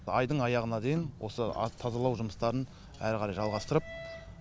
айдың аяғына дейін осы тазалау жұмыстарын әрі қарай жалғастырып